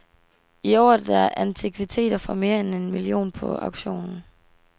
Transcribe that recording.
I år er der antikviteter for mere end en million på auktionen.